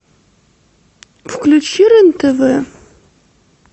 включи рен тв